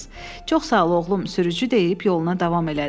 Çox sağ ol, oğlum, sürücü deyib yoluna davam elədi.